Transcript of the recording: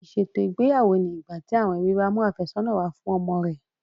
Ìṣètò ìgbéyàwó ni ìgbà tí àwọn ẹbí bá mú àfẹ́sọ̀nà wá fún ọmọ rẹ̀